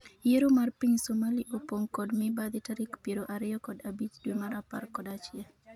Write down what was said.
Yiero ma piny Somali opong' kod mibadhi tarik piero ariyo kod abich dwe mar apar kod achiel